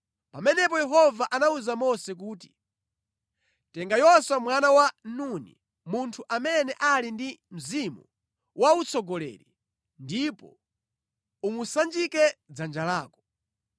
Pamenepo Yehova anawuza Mose kuti, “Tenga Yoswa mwana wa Nuni, munthu amene ali ndi mzimu wa utsogoleri, ndipo umusanjike dzanja lako.